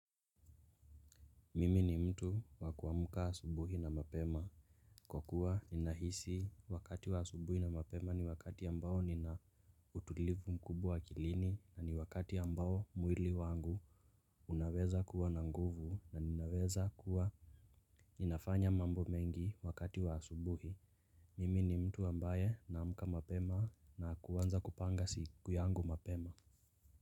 Mimi ni mtu wa kuamuka asubuhi na mapema. Kwa kuwa nina hisi wakati wa asubuhi na mapema ni wakati ambao nina utulivu mkubwa akilini na ni wakati ambao mwili wangu unaweza kuwa navnguvu na ninaweza kuwa ninafanya mambo mengi wakati wa asubuhi. Mimi ni mtu ambaye naamka mapema na kuanza kupanga siku yangu mapema.